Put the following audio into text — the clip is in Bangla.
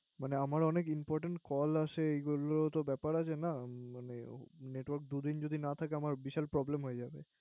মানে আমার অনেক Important Call আসে এইগুলো তো ব্যাপার আছে না মানে Network দুদিন যদি না থাকে আমার বিশাল Problem হয়ে যাবে